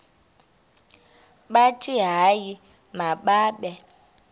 bathi hayi mababe